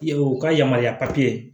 Ye u ka yamaruya papiye